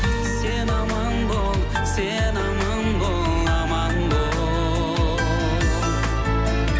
сен аман бол сен аман бол аман бол